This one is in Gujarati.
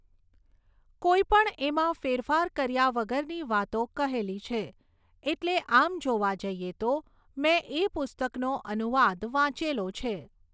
કોઈ પણ એમાં ફેરફાર કર્યા વગરની વાતો કહેલી છે એટલે આમ જોવા જઈએ તો મેં એ પુસ્તકનો અનુવાદ વાંચેલો છે